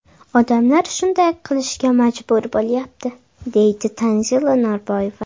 Odamlar shunday qilishga majbur bo‘lyapti”, deydi Tanzila Norboyeva.